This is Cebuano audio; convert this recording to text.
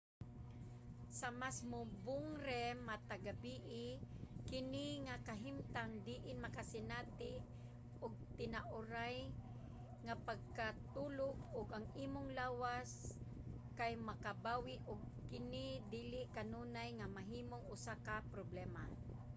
sa mas mubong rem matag gabii kini nga kahimtang diin makasinati ka og tinuoray nga pagkatulog ug ang imong lawas kay makabawi og kini dili kanunay nga mahimong usa ka problema